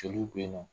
Joliw be yen nɔ